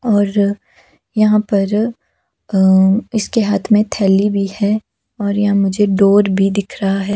और यहाँ पर अ इसके हाथ में थैली भी है और यहाँ मुझे डोर भी दिख रहा है।